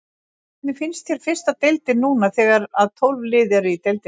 Hvernig finnst þér fyrsta deildin núna þegar að tólf lið eru í deildinni?